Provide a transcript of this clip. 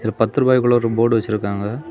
ஒரு பத்து ரூபாய்க்குள்ள ஒரு போர்டு வச்சிருக்காங்க.